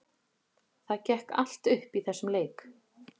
Það gekk allt upp í þessum leik.